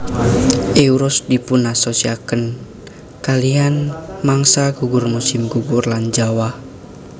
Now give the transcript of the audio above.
Euros dipunasosiasiaken kalihan mangsa gugur musim gugur lan jawah